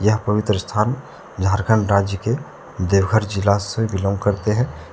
यह पवित्र स्थान झारखंड राज्य के देवघर जिला से बिलॉन्ग करते हैं।